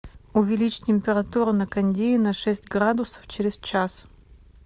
увеличь температуру на кондее на шесть градусов через час